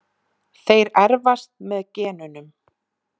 Þeir erfast með genunum.